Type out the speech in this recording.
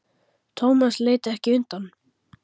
Thomas leit ekki undan.